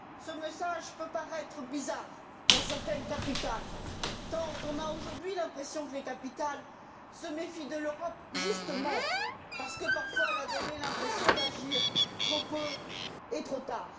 Ce message peut paraître bizarre dans certaines capitales tant on a, aujourd'hui, l'impression que les capitales se méfient de l'Europe, justement parce que, parfois, elle a donné l'impression d'agir trop peu et trop tard.